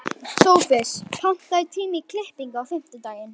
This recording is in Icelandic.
Sophus, pantaðu tíma í klippingu á fimmtudaginn.